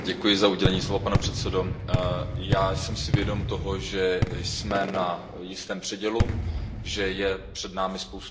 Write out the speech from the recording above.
Pane předsedající, já jsem si vědom toho, že jsme na jistém předělu, že je před námi spousta výzev.